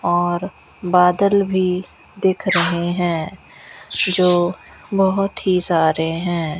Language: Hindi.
और बादल भी दिख रहे हैं जो बहोत ही सारे हैं।